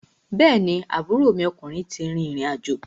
Bẹ́ẹ̀ni, aburo ọkùnrin ti rìrìn àjò.